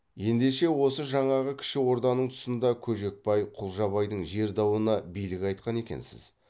ендеше осы жаңағы кіші орданың тұсында көжекбай құлжабайдың жер дауына билік айтқан екенсіз